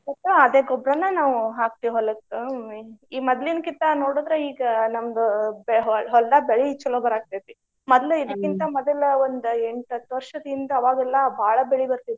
ಮತ್ತೆ ತ~ ಅದೇ ಗೊಬ್ರಾನ ನಾವು ಹಾಕ್ತೇವ್ ಹೊಲಕ್ಕ ಈ ಮದ್ಲಿನ್ಕಿತ್ತಾ ನೋಡಿದ್ರ ಈಗ ನಮ್ಮ್ ಬೆ~ ಹೊಲ್ದಾಗ ಬೆಳಿ ಚಲೋ ಬರಾಕತ್ತೇತಿ. ಮದ್ಲು ಮದಲ್ ಒಂದ್ ಎಂಟ್ ಹತ್ತ್ ವರ್ಷದ ಹಿಂದ ಆವಾಗೆಲ್ಲಾ ಭಾಳ ಬೆಳಿ ಬರ್ತೈತ್ರಿ.